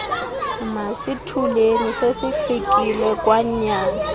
masithuleni sesifikile kwanyana